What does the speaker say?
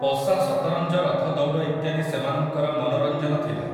ପଶା ସତରଞ୍ଜ ରଥଦୌଡ଼ ଇତ୍ୟାଦି ସେମାନଙ୍କର ମନୋରଞ୍ଜନ ଥିଲା ।